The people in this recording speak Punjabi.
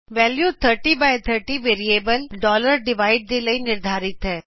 ਵੈਲਿਉ 3030 ਵੇਰਿਏਬਲ ਡਿਵਾਈਡ ਦੇ ਲਈ ਨਿਰਧਾਰਿਤ ਹੈ